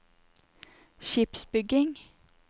skipsbygging